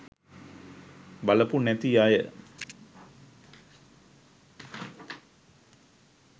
බලපු නැති අය